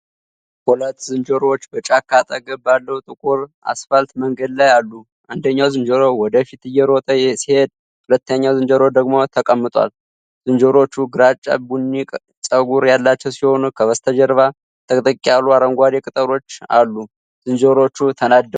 ሁለት ዝንጀሮዎች በጫካ አጠገብ ባለው ጥቁር አስፋልት መንገድ ላይ አሉ። አንደኛው ዝንጀሮ ወደ ፊት እየሮጠ ሲሄድ፣ ሁለተኛው ዝንጀሮ ደግሞ ተቀምጧል። ዝንጀሮዎቹ ግራጫ ቡኒ ፀጉር ያላቸው ሲሆን፣ ከበስተጀርባ ጥቅጥቅ ያሉ አረንጓዴ ቅጠሎች አሉ። ዝንጀሮዎቹ ተናደዋል?